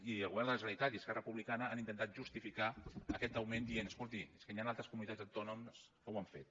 i el govern de la generalitat i esquerra republicana han intentat justificar aquest augment dient escolti és que hi han altres comunitats autònomes que ho han fet